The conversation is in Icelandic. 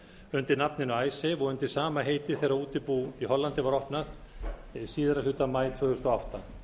undir nafninu og undir sama heiti þegar útibú í hollandi var opnað síðari hluta maí tvö þúsund og átta